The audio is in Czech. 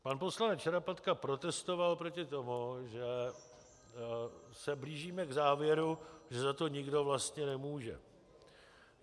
Pan poslanec Šarapatka protestoval proti tomu, že se blížíme k závěru, že za to nikdo vlastně nemůže.